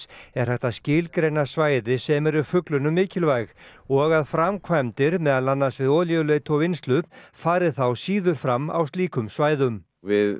er hægt að skilgreina svæði sem eru fuglunum mikilvæg og að framkvæmdir meðal annars við olíuleit og vinnslu fari þá síður fram á slíkum svæðum við